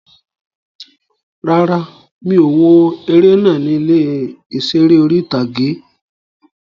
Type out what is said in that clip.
Rárá, mi ò wo eré náà ní ilé ìseré orí-ìtágé